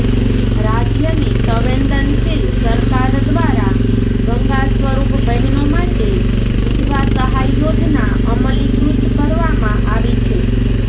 રાજ્યની સંવેદનશીલ સરકાર દ્વારા ગંગા સ્વરૂપ બહેનો માટે વિધવા સહાય યોજના અમલીકૃત કરવામાં આવી છે